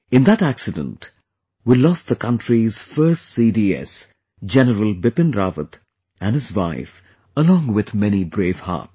In that accident, we lost the country's first CDS, General Bipin Rawat and his wife along with many brave hearts